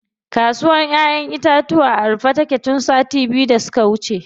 Kasuwr ƴaƴen itatuwa a rufe take tun sati biyu da suka wuce.